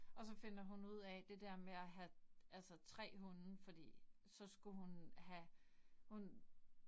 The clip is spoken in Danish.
Og så finder hun ud af det der med at have altså 3 hunde fordi så skulle hun have. Hun